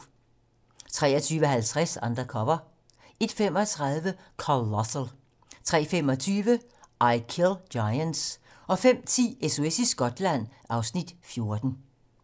23:50: Undercover 01:35: Colossal 03:25: I Kill Giants 05:10: SOS i Skotland (Afs. 14)